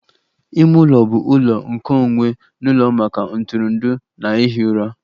Ime ụlọ bụ ụlọ nkeonwe n'ụlọ maka ntụrụndụ na ihi ụra